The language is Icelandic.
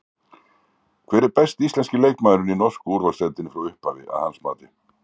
Hver er besti íslenski leikmaðurinn í norsku úrvalsdeildinni frá upphafi að hans mati?